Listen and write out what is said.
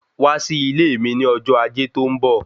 Wá sí ilé mi ní ọjọ́ ajé tó ń bọ̀